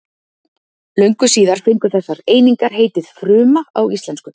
Löngu síðar fengu þessar einingar heitið fruma á íslensku.